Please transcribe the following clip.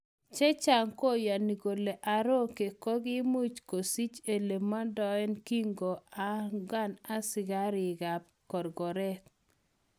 Chechang koyoni kole Aroke kokimuch kosich elemodoen kinko onkan asikarik kap korkoret.